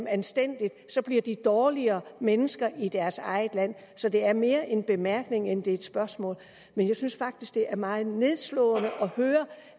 anstændigt bliver de dårligere mennesker i deres eget land så det er mere en bemærkning end det er et spørgsmål men jeg synes faktisk det er meget nedslående at høre